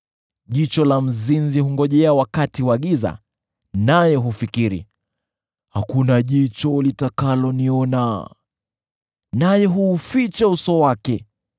Jicho la mzinzi hungojea wakati wa giza, naye hufikiri, ‘Hakuna jicho litakaloniona,’ naye huuficha uso wake.